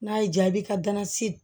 N'a y'i diya i bɛ ka nasi